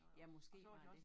Ja måske var det